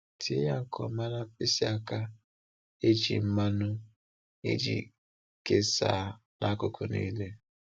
Tee ya nke ọma na mkpịsị aka e ji mmanụ iji kesaa n’akụkụ niile.